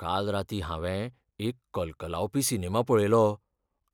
काल रातीं हांवें एक कलकलावपी सिनेमा पळयलो,